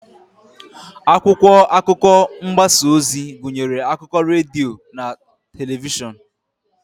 Akwụkwọ akụkọ mgbasa ozi gụnyere akụkọ redio na telivishọn.